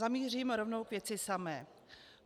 Zamířím rovnou k věci samé.